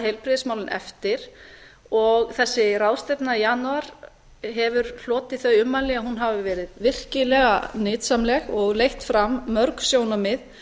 heilbrigðismálin og þessi ráðstefna í janúar hefur hlotið þau ummæli að hún hafi verið virkilega nytsamleg og leitt fram mörg sjónarmið